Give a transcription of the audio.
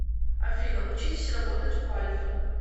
афина учитесь работать у альфы